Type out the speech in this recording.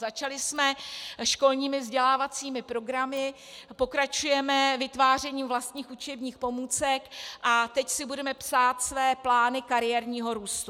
Začali jsme školními vzdělávacími programy, pokračujeme vytvářením vlastních učebních pomůcek a teď si budeme psát své plány kariérního růstu.